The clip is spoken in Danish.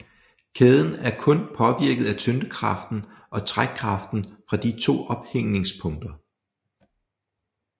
Kæden er kun påvirket af tyngdekraften og trækkraften fra de to ophængningspunkter